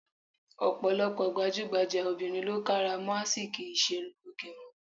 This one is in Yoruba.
Ọ̀pọ̀lọpọ̀ gbajúgbajà obìnrin lo ń kárà mọ́ ásìkí ìṣerunlóge wọn.